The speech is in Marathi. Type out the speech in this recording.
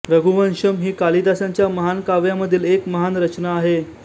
रघुवंशम् ही कालिदासांच्या महान काव्यांमधील एक महान रचना आहे